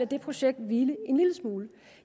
det projekt hvile en lille smule